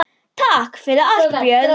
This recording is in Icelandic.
Takk fyrir allt, Björg.